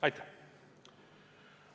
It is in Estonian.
Aitäh!